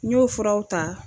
N ɲ'o furaw ta.